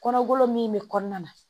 Kɔnɔkolo min be kɔnɔna na